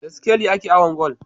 Da sikeli ake awon gwal